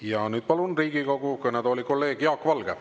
Ja nüüd palun Riigikogu kõnetooli kolleeg Jaak Valge.